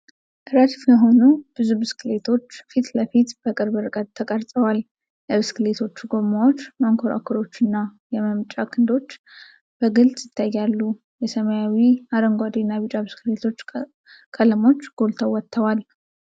ረድፍ የሆኑ ብዙ ብስክሌቶች ፊት ለፊት በቅርብ ርቀት ተቀርጸዋል። የብስክሌቶቹ ጎማዎች፣ መንኮራኩሮች እና የመምጠጫ ክንዶች በግልጽ ይታያሉ። የሰማያዊ፣ አረንጓዴና ቢጫ ብስክሌቶች ቀለሞች ጎልተው ወጥተዋል።